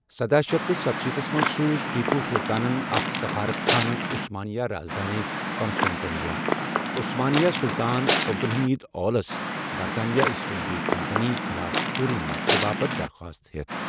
سداہ شتھ ستشیٖتھس منٛز سوٗز ٹیپوٗ سُلطانَن اكھ سفارت خانہٕ عثمانیہ رازدٲنہِ كانسٹینٹِنوپل عشمانیہ سُلطان عبدالحمید اولس برطانوی ایسٹ انڈیا کمپنی خلاف فوری مدتہٕ باپتھ درخواست ہیتھ ۔